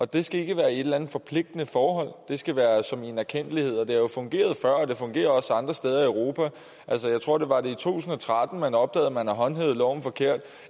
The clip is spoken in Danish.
det skal ikke være i et eller andet forpligtende forhold det skal være som en erkendtlighed det har jo fungeret før og det fungerer også andre steder i europa altså jeg tror det var i to og tretten man opdagede at man havde håndhævet loven forkert